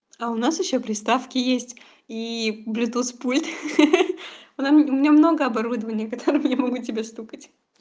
а у нас ещё приставки есть и блютуз пульт ха-ха у нам у меня много оборудования которым я могу тебя стукать